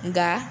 Nka